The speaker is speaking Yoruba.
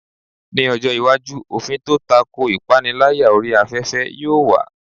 Ní ọjọ́ iwájú, òfin tó tako ìpániláyà orí afẹ́fẹ́ yóò wà.